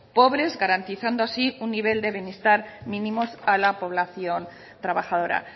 pobres garantizando así un nivel de bienestar mínimos a la población trabajadora